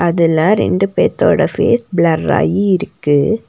அதுல ரெண்டு பேத்தோட ஃபேஸ் ப்ளர்ராயி இருக்கு.